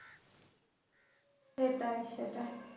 সেটাই সেটাই